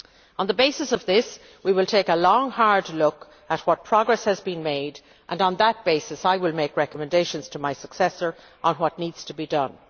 On the basis of this, we will take a long, hard look at what progress has been made and, on that basis, I will make recommendations to my successor on what needs to be done.